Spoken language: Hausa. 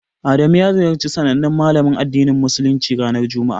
Adamu ya ziyarci sanannen Malamin addinin Musuluncin, ranar juma'a.